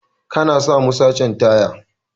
kana samu sachen taya.